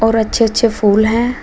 और अच्छे अच्छे फूल हैं।